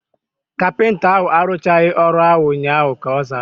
Kapịnta ahu aruchaghi ọrụ ahu ụnyaahụ, ka ọ zara